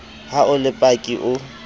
ha o le paki o